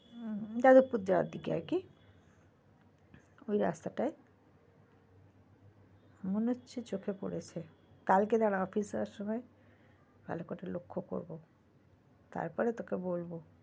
হম যাদবপুর যাওয়ার দিকে আরকি ওই রাস্তাটায় মনে হচ্ছে চোখে পড়েছে, কালকে দাঁড়া office যাওয়ার সময় ভালো করে লক্ষ্য করবো তারপরে তোকে বলবো।